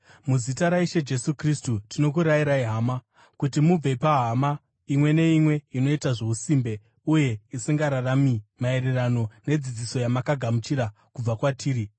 Muzita raIshe Jesu Kristu, tinokurayirai hama, kuti mubve pahama imwe neimwe inoita zvousimbe uye isingararami maererano nedzidziso yamakagamuchira kubva kwatiri.